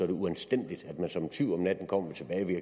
det uanstændigt at man som en tyv om natten kommer